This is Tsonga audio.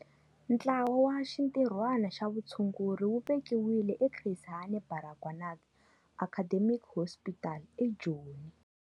Ntlawa wa Xintirhwana xa Vutshunguri wu vekiwile eChris Hani Baragwanath Academic Hospital eJoni.